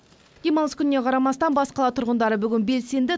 демалыс күніне қарамастан бас қала тұрғындары бүгін белсенді